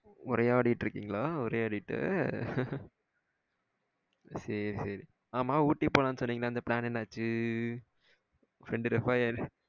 உரையாடிட்டு இருக்கீங்களா? உரையாடிட்டு சேரி சேரி. ஆமா ஊட்டிக்கு போலாம்னு சொன்னிங்களே அந்த பிளான் என்ன ஆச்சு?